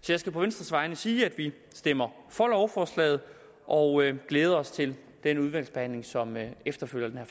så jeg skal på venstres vegne sige at vi stemmer for lovforslaget og glæder os til den udvalgsbehandling som efterfølger